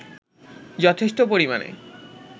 যথেষ্ট পরিমাণে